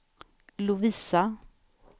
Lovisa